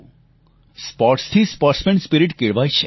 સ્પોર્ટ્સથી sportsman spirit પણ લઈ આવે છે